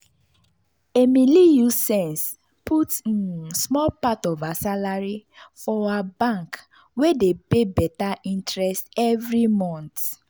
emily use sense put um small part of her salary for her bank wey dey pay better interest every month.